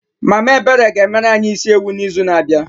Mama Ebere ga-emere anyị isi ewu n'izu na-abịa.